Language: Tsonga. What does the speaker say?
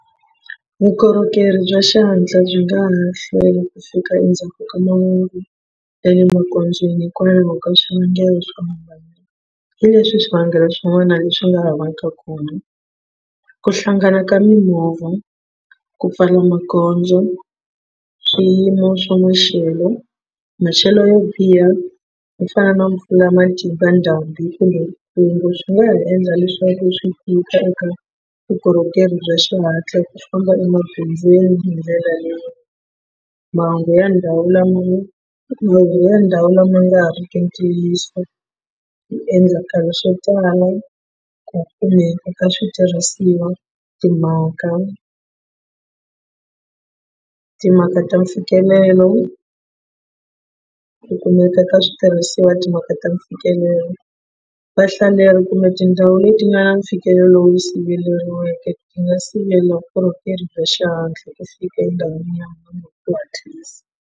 Vukorhokeri bya xihatla byi nga ha ma hlwela ku fika endzhaku ka mahungu ya le magondzweni hikwalaho ka swivangelo swo hambana hileswi swivangelo swin'wana leswi nga ha vaka khombo ku hlangana ka mimovha, ku pfala magondzo, swiyimo swa maxelo maxelo yo biha ku fana na mpfula ya matimba ndhambi kumbe swi nga ha endla leswaku swi tika eka vukorhokeri bya xihatla ku famba emagondzweni hi ndlela leyi mahungu ya ndhawu lama mahungu ndhawu lama nga riki ntiyiso hi endlakala swo tala ku kumeka ka switirhisiwa timhaka timhaka ta mfikelelo ku kumeka ka switirhisiwa timhaka ta mfikelelo vahlaleri kumbe tindhawu leti nga na mfikelelo lowu yi siveriweke hi nga sivela vukorhokeri bya xihatla ku fika endhawini ya .